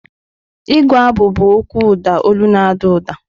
Ịgụ abụ bụ okwu ụda olu na-ada ụda.